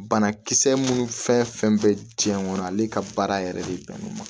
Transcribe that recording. Banakisɛ minnu fɛn fɛn bɛ diɲɛ kɔnɔ ale ka baara yɛrɛ de bɛnnen don